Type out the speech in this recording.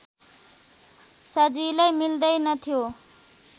सजिलै मिल्दैनथ्यो